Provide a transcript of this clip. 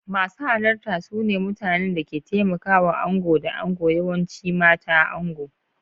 Masu halarta su ne mutanen da ke taimakawa ango da ango, yawanci mata da ango.